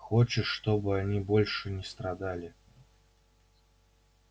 хочешь чтобы они больше не страдали